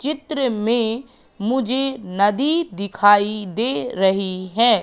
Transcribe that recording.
चित्र में मुझे नदी दिखाई दे रही है।